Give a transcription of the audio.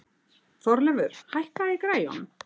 Þorleifur, hækkaðu í græjunum.